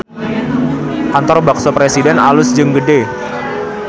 Kantor Bakso Presiden alus jeung gede